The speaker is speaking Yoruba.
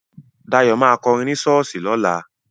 Dayọ̀ ma kọrin ní ṣọ́ọ̀ṣì lọ́la